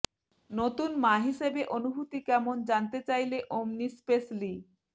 নতুন মা হিসেবে অনুভূতি কেমন জানতে চাইলে ওমনিস্পেস লি